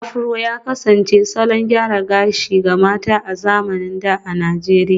Afro ya kasance salon gyaran gashi ga mata a zamanin da a Najeriya